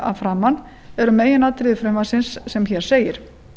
að framan eru meginatriði frumvarpsins sem hér segir